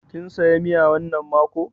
Kin saya miya wannan mako?